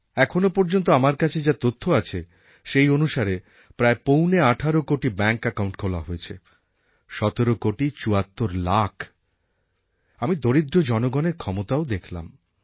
এখনও পর্যন্ত আমার কাছে যা তথ্য আছে সেই অনুসারে প্রায় পৌনে আঠারো কোটি ব্যাঙ্ক অ্যাকাউন্ট খোলা হয়েছে সতেরো কোটি চুয়াত্তর লাখ আমি দরিদ্র জনগণের ক্ষমতাও দেখলাম